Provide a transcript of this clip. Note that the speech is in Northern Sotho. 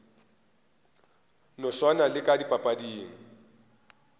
no swana le ka dipapading